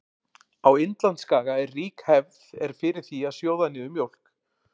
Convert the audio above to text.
Á Indlandsskaga er rík hefð er fyrir því að sjóða niður mjólk.